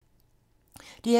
DR2